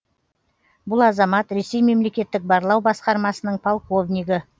бұл азамат ресей мемлекеттік барлау басқармасының полковнигі